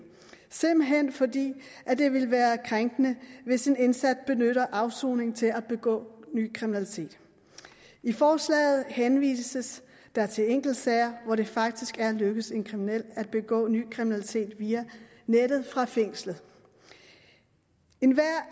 simpelt hen fordi det ville være krænkende hvis en indsat benyttede afsoningen til at begå ny kriminalitet i forslaget henvises der til enkeltsager hvor det faktisk er lykkedes en kriminel at begå ny kriminalitet via nettet fra fængslet enhver